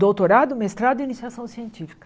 Doutorado, mestrado e iniciação científica.